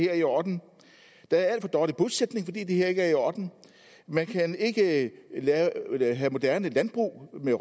er i orden der er alt for dårlig bosætning fordi det her ikke er i orden man kan ikke have moderne landbrug med